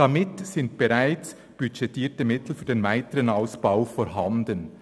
Damit sind bereits budgetierte Mittel für den weiteren Ausbau vorhanden.